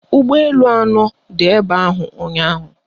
Ụgbọelu anọ dị ebe ahụ ụnyaahụ